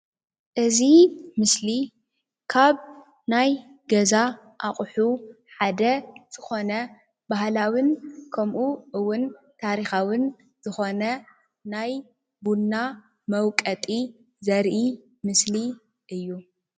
እዚ ምስሊ ካብ ናይ ገዛ አቁሑ ሓደ ዝኮነ ባህላውን ከምኡ እውን ታሪካዊ ዝኮነ ናይ ቡና መውቀጢ ዘርኢ ምስሊ እዩ፡፡